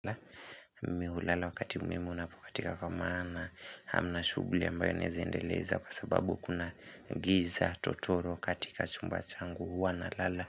Mimi hulala wakati muhimu unapokatika kwa maana hamna shughuli ambayo naeza endeleza kwa sababu kuna giza totoro katika chumba changu huwa nalala.